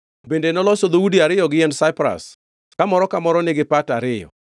Bende noloso dhoudi ariyo gi yiend saipras kamoro ka moro nigi pata ariyo.